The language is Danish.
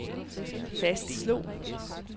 fastslog